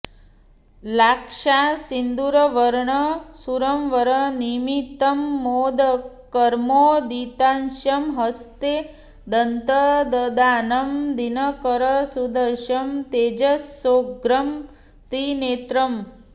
लाक्षासिन्दूरवर्णं सुरवरनमितं मोदकर्मोदितास्यं हस्ते दन्तं ददानं दिनकरसदृशं तेजसोग्रं त्रिनेत्रम्